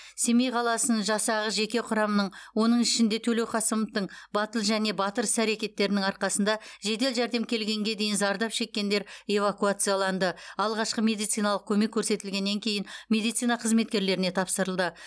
семей қаласының жасағы жеке құрамының оның ішінде төлеуқасымовтың батыл және батыр іс әрекеттерінің арқасында жедел жәрдем келгенге дейін зардап шеккендер эвакуацияланды алғашқы медициналық көмек көрсетілгеннен кейін медицина қызметкерлеріне тапсырылды